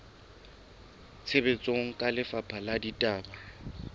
tshebetsong ke lefapha la ditaba